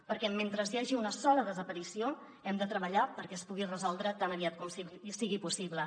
perquè mentre hi hagi una sola desaparició hem de treballar perquè es pugui resoldre tan aviat com sigui possible